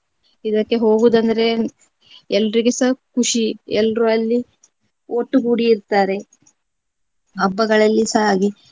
ಇದಕ್ಕೆ ಹೋಗುವುದಂದ್ರೆ ಎಲ್ರಿಗೆಸ ಖುಷಿ, ಎಲ್ರೂ ಅಲ್ಲಿ ಒಟ್ಟುಗೂಡಿ ಇರ್ತಾರೆ. ಹಬ್ಬಗಳಲ್ಲಿಸ ಹಾಗೆ